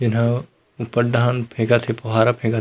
एहा ऊपर डाहन फेंकत हे फुहारा फेंकत--